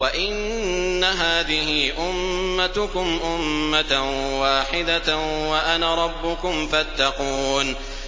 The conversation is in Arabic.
وَإِنَّ هَٰذِهِ أُمَّتُكُمْ أُمَّةً وَاحِدَةً وَأَنَا رَبُّكُمْ فَاتَّقُونِ